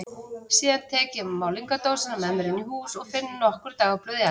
Síðan tek ég málningardósina með mér inn í hús og finn nokkur dagblöð í eldhúsinu.